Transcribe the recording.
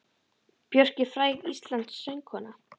Björk er fræg íslensk söngkona.